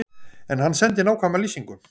En hann sendi nákvæma lýsingu.